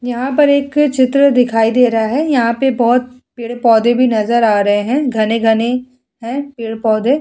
यहाँ पर एक चित्र दिखाई दे रहा है। यहाँ पे बोहोत पेड़-पौधे भी नजर आ रहे हैं। घने-घने हैं पेड़-पौधे।